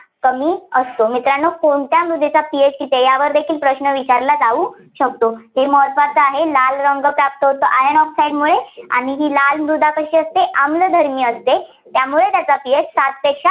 कमी असतो. मित्रांनो कोणत्या मृदेचा ph किती आहे, यावर देखील प्रश्न विचारला जाऊ शकतो. हे महत्त्वाचं आहे. लाल रंग का असतो, तर iron oxide मुळे आणि ही लाल मृदा कशी असते, आम्लधर्मी असते, त्यामुळे त्याचा ph सातपेक्षा